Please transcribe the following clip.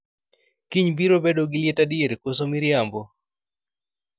kiny biro bedo gi liet adier koso miriambo